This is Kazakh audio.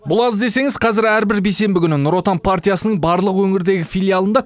бұл аз десеңіз қазір әрбір бейсенбі күні нұр отан партиясының барлық өңірдегі филиалында